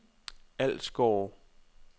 Ålsgårde